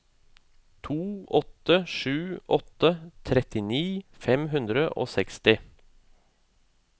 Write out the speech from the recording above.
to åtte sju åtte trettini fem hundre og seksti